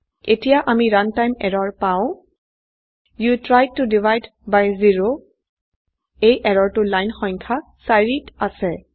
ইয়াতে আমি runtime error পাও you tried to divide by zero এই এৰৰ টো লাইন সংখ্যা ৪ত আছে